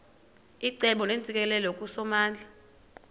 icebo neentsikelelo kusomandla